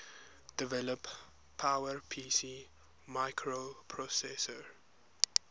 develop powerpc microprocessor